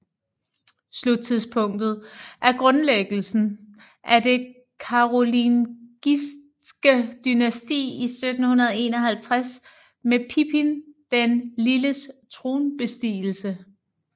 Sluttidspunktet er grundlæggelsen af det karolingiske dynasti i 751 med Pippin den Lilles tronbestigelse